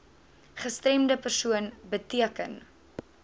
gestremde persoon beteken